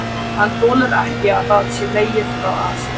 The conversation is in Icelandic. Hann þolir ekki að það sé hlegið að sér.